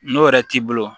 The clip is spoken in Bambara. N'o yɛrɛ t'i bolo